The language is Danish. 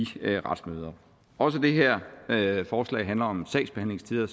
retsmøder også det her forslag handler om sagsbehandlingstider